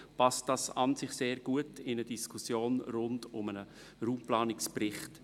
Das passt an und für sich sehr gut in eine Diskussion rund um den Raumpla nungsbericht.